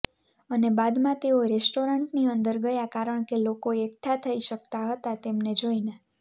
અને બાદમાં તેઓ રેસ્ટોરન્ટની અંદર ગયા કારણ કે લોકો એકઠા થઇ શકતા હતા તેમને જોઇને